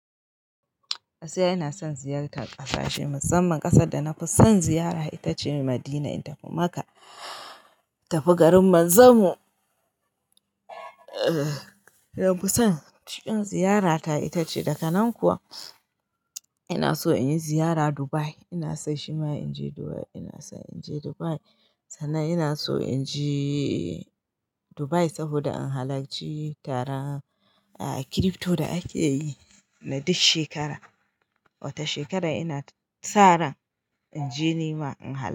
Gaskiya ina son ziyartar ƙasashe, musamman ƙasar da na fi son ziyara ita ce Madina, in tafi Makka, tafi garin Manzon mu. Na fi son cikin ziyarata ita ce. Daka nan kuwa ina so in yi ziyara Dubai. Ina son shima in je Dubai ina son in je Dubai sannan ina so in je Dubai saboda in halarci taron crypto da ake yi na duk shekara. Wata shekarar ina sa ran in je nima in halarta.